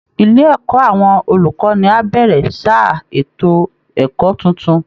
Ilé ẹ̀kọ́ àwọn olùkọ́ni á bẹ̀rẹ̀ sáà ètò ẹ̀kọ́ tuntun